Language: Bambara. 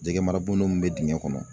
Jɛgɛmarabon min bɛ dingɛ kɔnɔ.